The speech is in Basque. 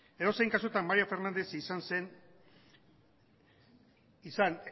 edozein kasutan mario fernández izan